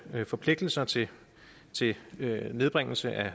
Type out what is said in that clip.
forpligtelser til til nedbringelse af